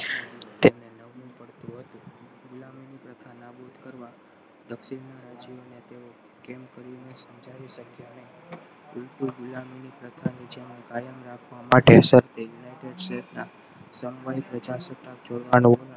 દક્ષિણના રાજ્યો તેઓ કેમ કરીને સમજાવી શક્યા ને ઉલટુ ગુલામીની કાયમ રાખવા માટે જ યુનાઇટેડ સ્ટેટ્સના જોડવાનો